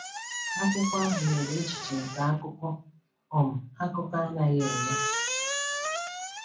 Akwụkwọ ahụ nyere echiche nke akụkọ um akụkọ anaghị enye.